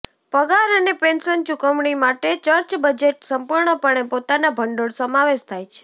પગાર અને પેન્શન ચુકવણી માટે ચર્ચ બજેટ સંપૂર્ણપણે પોતાના ભંડોળ સમાવેશ થાય છે